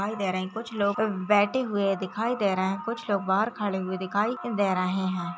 --दिखाई दे रहे हैं कुछ लोग बैठे हुए दिखाई दे रहे हैं कुछ लोग बाहर खड़े हुए दिखाई दे रहे हैं।